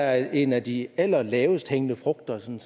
at en af de aller lavest hængende frugter som